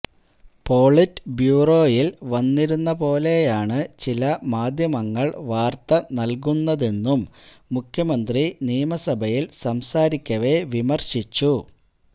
polit ബ്യൂറോയിൽ വന്നിരുന്നപോലെയാണ് ചില മാധ്യമങ്ങൾ വാർത്ത നൽകുന്നതെന്നും മുഖ്യമന്ത്രി നിയമസഭയിൽ സംസാരിക്കവെ വിമർശിച്ചു